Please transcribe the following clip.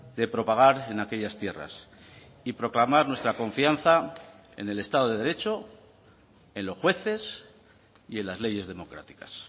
de propagar en aquellas tierras y proclamar nuestra confianza en el estado de derecho en los jueces y en las leyes democráticas